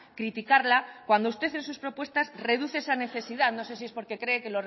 criticarla cuando usted en sus propuestas reduce esa necesidad no sé si es porque cree que